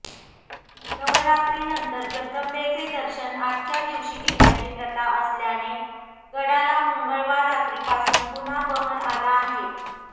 नवरात्रीनंतर जगदंबेचे दर्शन आजच्या दिवशी घेण्याची प्रथा असल्याने गडाला मंगळवार रात्रीपासून पुन्हा बहर आला आहे